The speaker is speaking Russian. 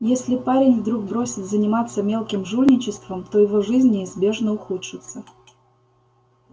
если парень вдруг бросит заниматься мелким жульничеством то его жизнь неизбежно ухудшится